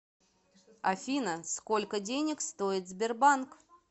афина сколько денег стоит сбербанк